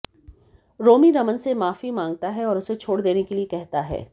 रोमी रमन से माफी मांगता है और उसे छोड़ देने के लिए कहता है